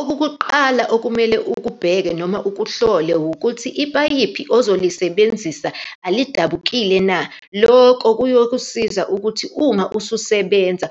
Okokuqala okumele akubheke noma ukuhlole, wukuthi ipayipi ozolisebenzisa alidabukile na. Loko kuyokusiza ukuthi uma ususebenza